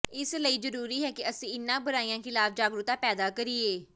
ਇਸ ਲਈ ਜ਼ਰੂਰੀ ਹੈ ਕਿ ਅਸੀਂ ਇਨ੍ਹਾਂ ਬੁਰਾਈਆਂ ਖ਼ਿਲਾਫ਼ ਜਾਗਰੂਕਤਾ ਪੈਦਾ ਕਰੀਏ